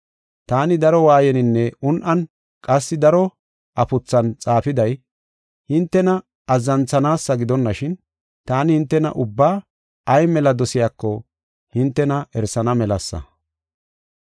Taani daro waayeninne un7an qassi daro afuthan xaafiday, hintena azzanthanaasa gidonashin, taani hintena ubbaa ay mela dosiyako hintena erisana melasa.